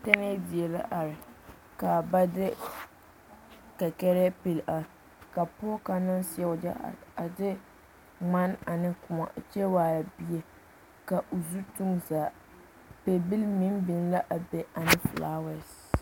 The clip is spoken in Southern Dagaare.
Tɛɛnee die la are kaa ba de kakare pele a ka pɔge kaŋa naŋ seɛ wagye a de mane ane kõɔ kyɛ waare bie ka o zu tuŋ o zaa pɛbile meŋ biŋ la a be ane filaaware.